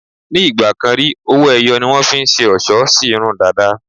Ní ì̀gbàkan rí, owó-ẹyọ ni wọ́n fi ń ṣe ọlṣọ́ sí irun dàda.